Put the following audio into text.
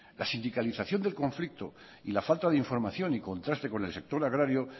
la sindicalización del conflicto y la falta de información y contraste con el sector agrario